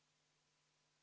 Aitäh, lugupeetud juhataja!